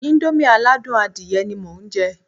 Íńdómì aládùn adìyẹ ni mo ń jẹ́